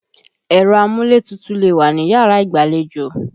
Ẹ̀rọ amúlétutù lè wà níyàrá ìgbàlejò.